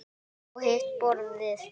Og hitt borðið?